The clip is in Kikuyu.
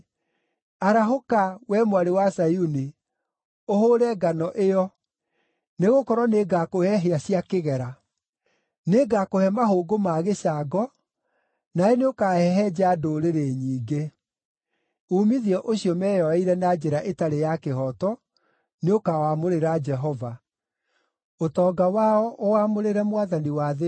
“Arahũka, wee Mwarĩ wa Zayuni, ũhũũre ngano ĩyo, nĩgũkorwo nĩngakũhe hĩa cia kĩgera; nĩngakũhe mahũngũ ma gĩcango nawe nĩũkahehenja ndũrĩrĩ nyingĩ.” Uumithio ũcio meyoeire na njĩra ĩtarĩ ya kĩhooto nĩũkawamũrĩra Jehova, ũtonga wao ũwamũrĩre Mwathani wa thĩ yothe.